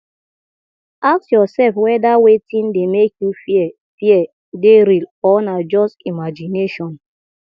ask yourself weda wetin dey make you fear fear dey real or na just imagination